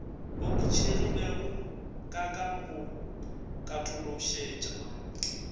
oketšegilego ka ka go katološetša